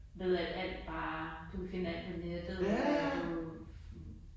Ved at alt bare du kan finde alt på nettet og at du du